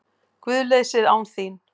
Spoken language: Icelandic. GUÐLEYSIÐ ÁN ÞÍN